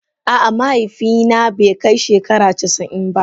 A'a, mahaifi na be kai shegara casa'in ba.